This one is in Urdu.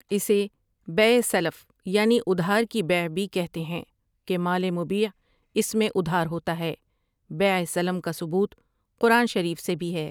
اسے بیع سلف یعنی ادھار کی بیع بھی کہتے ہیں کہ مال مبیع اس میں ادھار ہوتا ہے بیع سلم کا ثبوت قرآن شریف سے بھی ہے۔